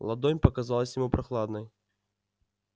ладонь показалась ему прохладной